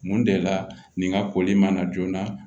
Mun de la nin ka koli man na joona